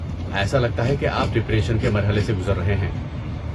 ایسا لگتا ہے کہ آپ ڈپریشن کے مرحلے سے گزر رہے ہیں۔